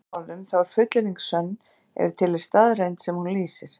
Með öðrum orðum þá er fullyrðing sönn ef til er staðreynd sem hún lýsir.